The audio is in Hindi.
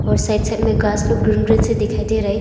और साइड साइड में घास लोग ग्रीन ग्रीन से दिखाई दे रहा है।